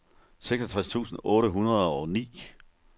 seksogtres tusind otte hundrede og ni